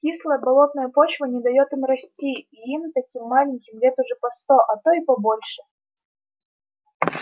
кислая болотная почва не даёт им расти и им таким маленьким лет уже по сто а то и побольше